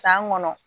San kɔnɔ